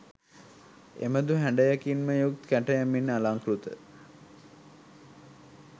එබඳු හැඩයකින්ම යුත් කැටයමින් අලංකෘත